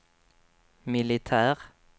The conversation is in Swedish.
militär